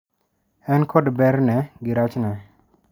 En kod ber ne gi rach ne.